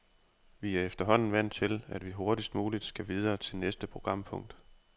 Vi er efterhånden vant til, at vi hurtigst muligt skal videre til næste programpunkt.